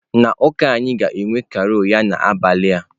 Na ụka anyị ga-enwe carol ya n'abalị a.